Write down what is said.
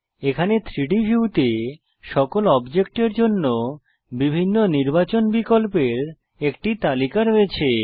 এখানে 3ডি ভিউতে সকল অবজেক্ট এর জন্য বিভিন্ন নির্বাচন বিকল্পের একটি তালিকা রয়েছে